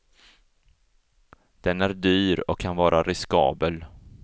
Den är dyr och kan vara riskabel.